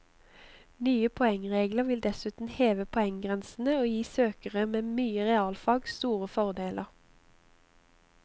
Nye poengregler vil dessuten heve poenggrensene og gi søkere med mye realfag store fordeler.